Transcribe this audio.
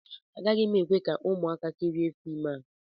Agaghị m ekwe ka ụmụaka kirie fim a